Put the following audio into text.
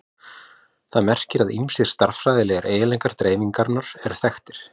Það merkir að ýmsir stærðfræðilegir eiginleikar dreifingarinnar eru þekktir.